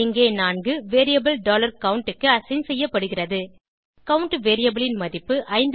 இங்கே 4 variable count க்கு assign செய்யப்படுகிறது கவுண்ட் வேரியபிள் ன் மதிப்பு